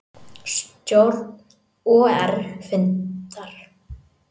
Stjórn OR fundar